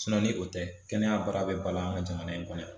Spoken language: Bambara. ni o tɛ, kɛnɛya baara bi balo ka jamana in kɔnɔ.